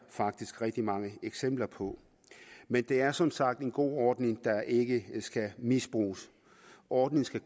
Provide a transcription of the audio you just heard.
faktisk rigtig mange eksempler på men det er som sagt en god ordning der ikke skal misbruges ordningen skal